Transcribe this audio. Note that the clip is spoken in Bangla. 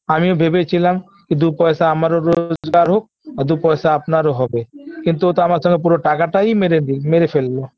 আমিও ভেবেছিলাম যে দু পয়সা আমারও রোজগার হোক আর দু পয়সা আপনারও হবে কিন্তু ওতো আমার সঙ্গে পুরো টাকাটাই মেরে দি মেরে ফেললো